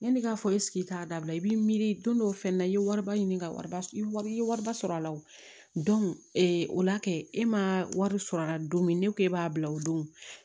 Yanni k'a fɔ k'a dabila i b'i miiri don fɛnɛ na i ye wariba ɲini ka wariba i ye wariba sɔrɔ a la o o la kɛ e ma wari sɔrɔ a la don min ne ko e b'a bila o don